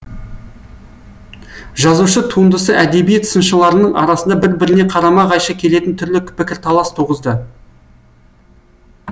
жазушы туындысы әдебиет сыншыларының арасында бір біріне қарама қайшы келетін түрлі пікірталас туғызды